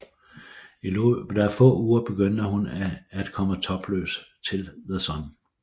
I løbet af få uger begyndte hun at komme topløs i The Sun